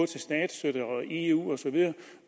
til statsstøtte og eu osv